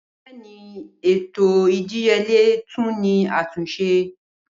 Bẹẹni, ètò idìyèlẹ̀ tún ni àtúnsẹ.